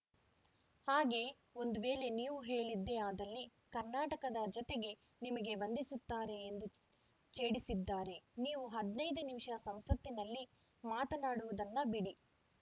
ಹಾಗೆ ಒಂದು ವೇಳೆ ನೀವು ಹೇಳಿದ್ದೇ ಆದಲ್ಲಿ ಕರ್ನಾಟಕದ ಜನತೆ ನಿಮಗೆ ವಂದಿಸುತ್ತಾರೆ ಎಂದು ಛೇಡಿಸಿದ್ದಾರೆ ನೀವು ಹದಿನೈದು ನಿಮಿಷ ಸಂಸತ್ತಿನಲ್ಲಿ ಮಾತನಾಡುವುದನ್ನ ಬಿಡಿ